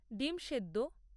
ডিম্ সেদ্দ